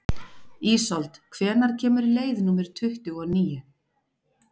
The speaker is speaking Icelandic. Ísold, hvenær kemur leið númer tuttugu og níu?